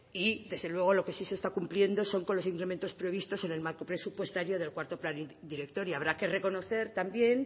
y desde luego lo que sí se está cumpliendo son con los incrementos previstos en el marco presupuestario del cuarto plan director y habrá que reconocer también